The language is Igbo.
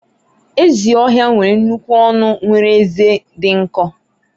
ezi ohia nwere nnukwu ọnụ nwere ezé dị nkọ